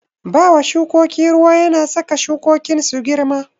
Bawa shukoki ruwa yana saka shukokin su girma.